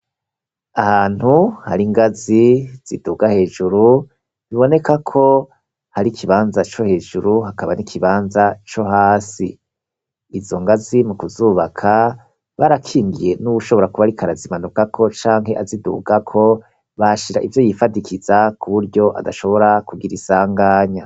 Ahantu hari ingazi ziduga hejuru bibonekako hari ikibanza cohejuru hakaba nikibanza cohasi izo ngazi mukuzubaka barakingiye nuwushobora kuba ariko arazimanukako canke azidugako bahashira ivyo yifadikiza kuburyo adashobora kugira isanganya.